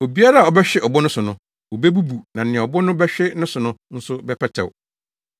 Obiara a ɔbɛhwe ɔbo no so no, obebubu na nea ɔbo no bɛhwe ne so no nso bɛpɛtɛw.”